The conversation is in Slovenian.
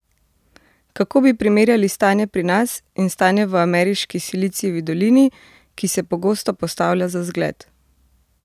Kako bi primerjali stanje pri nas in stanje v ameriški Silicijevi dolini, ki se pogosto postavlja za zgled?